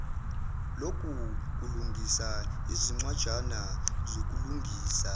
lokulungisa izincwajana zokulungisa